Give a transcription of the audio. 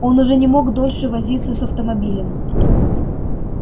он уже не мог дольше возиться с автомобилем